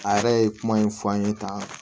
A yɛrɛ ye kuma in fɔ an ye tan